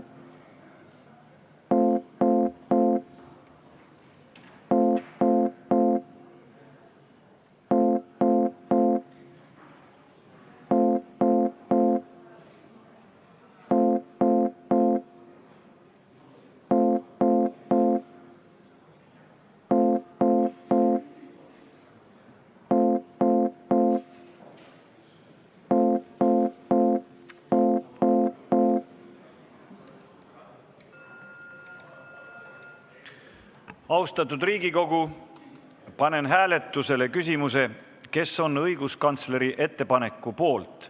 Austatud Riigikogu, panen hääletusele küsimuse, kes on õiguskantsleri ettepaneku poolt.